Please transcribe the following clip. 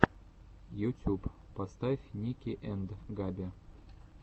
ютюб поставь ники энд габи